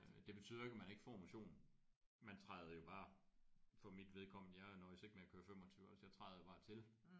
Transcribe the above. Øh det betyder jo ikke at man ikke får motion man træder jo bare for mit vedkommende jeg nøjes ikke med at køre 25 altså jeg træder jo bare til